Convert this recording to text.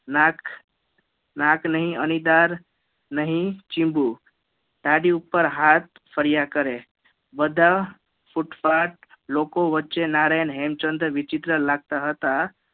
નાક નાક નહી અણીદાર નહી ચિવવું દાઢી ઉપર હાથ ફર્યા કરે બધા ઉત્પાથ લોકો વચ્ચે નારાયણ હેમચંદ્ર વિચિત્ર લાગતા હતા